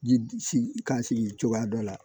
Ji sigi ka sigi cogoya dɔ la